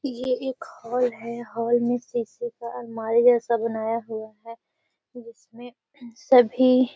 ये एक हॉल है हॉल में शीशे का अलमारी जैसा बनाया हुआ है जिसमें सभी --